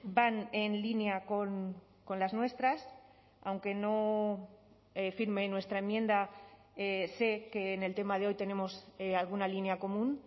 van en línea con las nuestras aunque no firme nuestra enmienda sé que en el tema de hoy tenemos alguna línea común